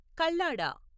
Kallada